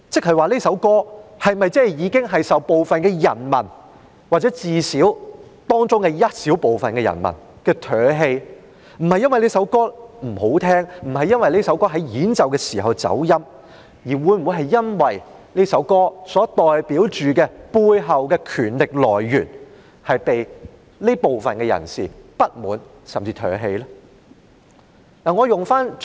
是這首歌已經遭到部分人民或至少當中一小部分人民唾棄。不是因為這首歌不動聽，不是因為這首歌演奏的時候走音，而是因為這首歌所代表的背後權力來源令這些人感到不滿，甚至被他們唾棄。